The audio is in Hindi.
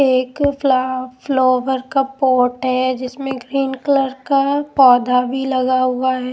एक फ्ला फ्लोवर का पोट जिसमें ग्रीन कलर का पौधा भी लगा हुआ है।